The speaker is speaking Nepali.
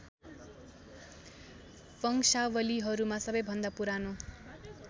वंशावलीहरूमा सबैभन्दा पुरानो